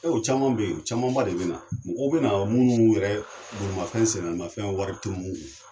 O caman bɛ yen o camanba de bɛ na mɔgɔw bɛ na minnu yɛrɛ bolimafɛn sennaanimafɛn wari tɛ minnu kun